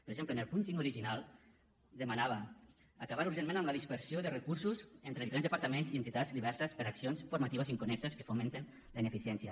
per exemple en el punt cinc original demanava acabar urgentment amb la dispersió de recursos entre diferents departaments i entitats diverses per accions formatives inconnexes que fomenten la ineficiència